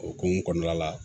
O hokumu kɔnɔna la